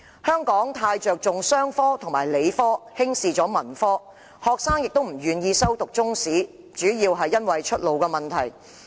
香港過於着重商科和理科，輕視文科，學生亦基於出路問題，不願意修讀中史科。